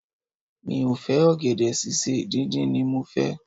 Mi ò fẹ́ ọ̀gẹ̀dẹ̀ sísè, díndín ni mo fẹ́.